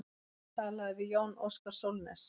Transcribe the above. Talað við Jón Óskar Sólnes.